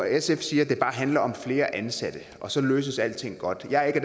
sf siger at det bare handler om flere ansatte og så løses alting godt jeg er